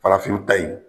Farafinw ta in